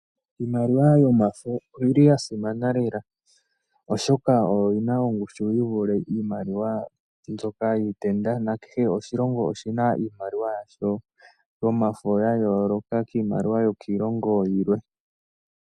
Iimaliwa yomafo oyi li ya simana lela, oshoka oyo yi na ongushu yi vule iimaliwa mbyoka yiitenda nakehe oshilongo oshi na iimaliwa yasho yomafo ya yooloka kiimaliwa yokiilongo yilwe.